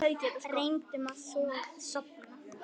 Reyndum að sofna.